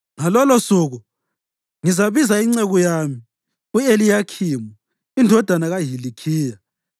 Ngalolosuku ngizabiza inceku yami, u-Eliyakhimu indodana kaHilikhiya.